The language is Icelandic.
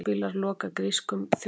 Vörubílar loka grískum þjóðvegi